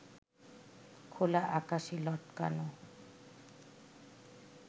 খোলা আকাশে লটকানো